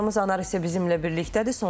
Həmkarımız Anar isə bizimlə birlikdədir.